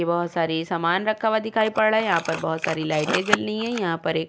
बहोत सारी समान रहा हुआ दिखाई पड़ रहा है। यहाँ पर बहोत सारी लाइटें जल रही हैं। यहां पर एक --